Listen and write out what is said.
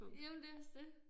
Jamen det også det